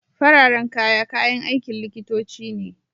Fararen kaya, kayan aikin likitoci ne.